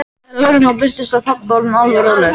Þegar lögreglan birtist var pabbi orðinn alveg rólegur.